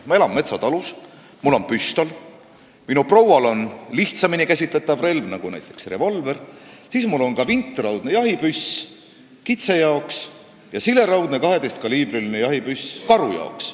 Ma elan metsatalus, mul on püstol, minu proual on lihtsamini käsitsetav relv, näiteks revolver, siis on mul ka vintraudne jahipüss kitse jaoks ja sileraudne 12-kaliibriline jahipüss karu jaoks.